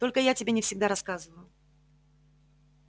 только я тебе не всегда рассказываю